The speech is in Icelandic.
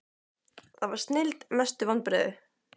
það var snilld Mestu vonbrigði?